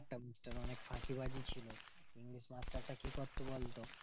ফাঁকিবাজি ছিলোনা মাস্টারটা কি করতো বলতো?